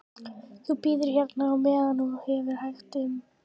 Þú bíður hérna á meðan og hefur hægt um þig.